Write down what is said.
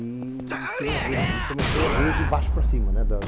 E queria ver aquilo, e comecei a ver de baixo para cima, né?